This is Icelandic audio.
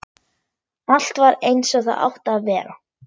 Allt var eins og það átti að vera.